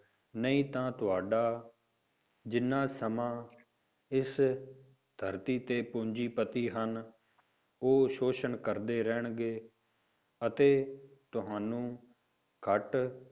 ਨਹੀਂ ਤਾਂ ਤੁਹਾਡਾ ਜਿੰਨਾ ਸਮਾਂ ਇਸ ਧਰਤੀ ਤੇ ਪੂੰਜੀਪਤੀ ਹਨ, ਉਹ ਸ਼ੋਸ਼ਣ ਕਰਦੇ ਰਹਿਣਗੇ, ਅਤੇ ਤੁਹਾਨੂੰ ਘੱਟ